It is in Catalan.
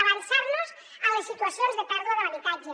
avançar nos a les situacions de pèrdua de l’habitatge